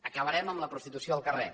acabarem amb la prostitució al carrer